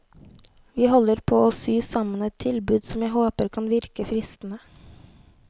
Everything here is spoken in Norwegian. Vi holder på å sy sammen et tilbud som jeg håper kan virke fristende.